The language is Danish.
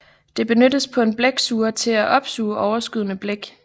Det benyttes på en blæksuger til at opsuge overskydende blæk